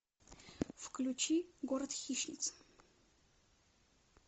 включи город хищниц